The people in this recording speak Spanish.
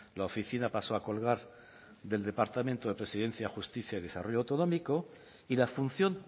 la oficina pasó a colgar del departamento de presidencia justicia y desarrollo autonómico y la función